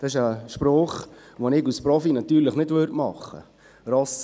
Das ist ein Spruch, den ich als Profi natürlich nicht machen würde.